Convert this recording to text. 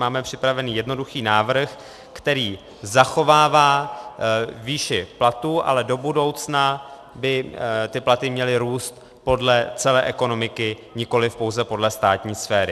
Máme připravený jednoduchý návrh, který zachovává výši platů, ale do budoucna by ty platy měly růst podle celé ekonomiky, nikoliv pouze podle státní sféry.